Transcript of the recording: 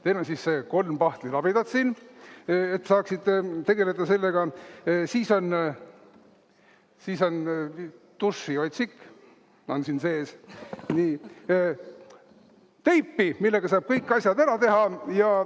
Teil on siis kolm pahtlilabidat siin, et saaksite tegeleda sellega, siis on dušiotsik siin sees ja teipi, millega saab kõik asjad ära teha.